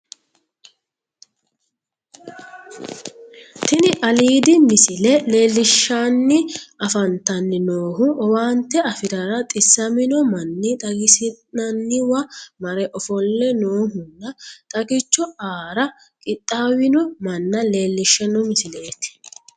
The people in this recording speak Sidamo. Tini aiidi misile leellishshanni afantanni noohu owaante afirara xissamino manni xagisi'nanniwa mare ofolle noohunna xagicho aara qixxaawino manna leellishshanno misileeti